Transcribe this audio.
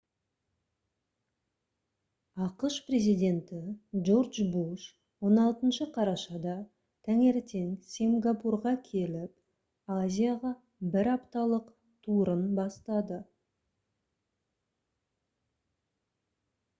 ақш президенті джордж в буш 16 қарашада таңертең сингапурға келіп азияға бір апталық турын бастады